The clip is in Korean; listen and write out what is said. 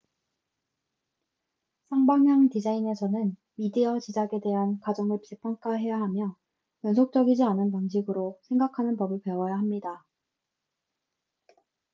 쌍방향 디자인에서는 미디어 제작에 대한 가정을 재평가해야 하며 연속적이지 않은 방식으로 생각하는 법을 배워야 합니다